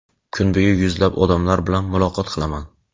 Kuni bo‘yi yuzlab odamlar bilan muloqot qilaman.